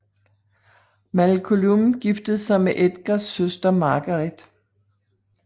Máel Coluim giftede sig med Edgars søster Margaret